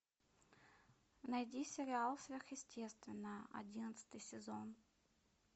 найди сериал сверхъестественное одиннадцатый сезон